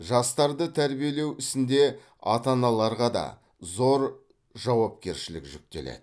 жастарды тәрбиелеу ісінде ата аналарға да зор жауапкершілік жүктеледі